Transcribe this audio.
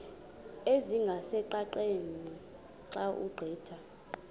ezingqaqeni xa ugqitha